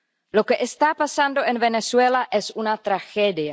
Lo que está pasando en Venezuela es una tragedia.